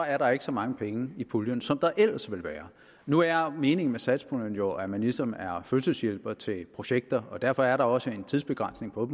er der ikke så mange penge i puljen som der ellers ville være nu er meningen med satspuljen jo at ministeren er fødselshjælper til projekter og derfor er der også en tidsbegrænsning på